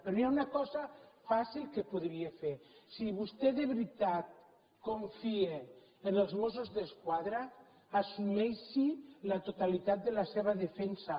però hi ha una cosa fàcil que podria fer si vostè de veritat confia en els mossos d’esquadra assumeixi la totalitat de la seva defensa